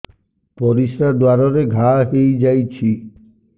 ପରିଶ୍ରା ଦ୍ୱାର ରେ ଘା ହେଇଯାଇଛି